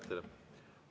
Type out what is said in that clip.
Aitäh teile!